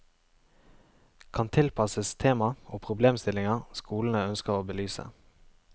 Kan tilpasses tema og problemstillinger skolene ønsker å belyse.